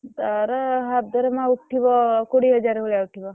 ତାର half ଦରମା ଉଠିବ କୋଡିଏ ହାଜ଼ାର୍ ଭଳିଆ ଉଠିବ।